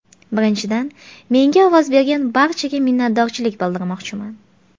Birinchidan, menga ovoz bergan barchaga minnatdorchilik bildirmoqchiman.